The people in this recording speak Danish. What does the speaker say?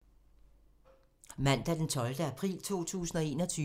Mandag d. 12. april 2021